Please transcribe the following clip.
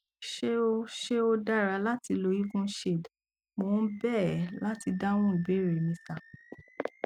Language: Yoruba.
ṣé ó ṣé ó dára láti lo evenshade mo ń bẹ ẹ láti dáhùn ìbéèrè mi sir